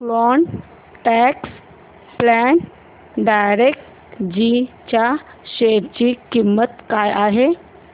quant tax plan direct G च्या share ची किंमत काय आहे